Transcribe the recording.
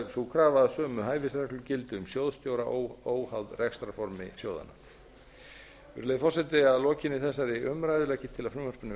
sú krafa að sömu hæfisreglur gildi um sjóðstjóra óháð rekstrarformi sjóðanna virðulegi forseti að lokinni þessari umræðu legg ég til að frumvarpinu verði